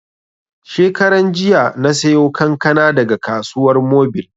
Shekaran jiya na sayo kankana daga Kasuwar Mobil